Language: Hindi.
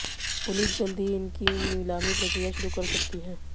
पुलिस जल्द ही इनकी नीलामी प्रक्रिया शुरू कर सकती है